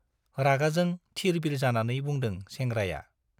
रागाजों थिर-बिर जानानै बुंदों सेंग्राया।